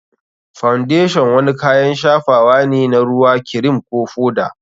Foundation wani kayan shafawa ne na ruwa, kirim, ko foda.